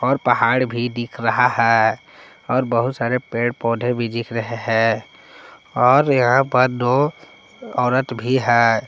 और पहाड़ भी दिख रहा है और बहुत सारे पेड़ पौधे भी दिख रहे हैं और यहां पर दो औरत भी है।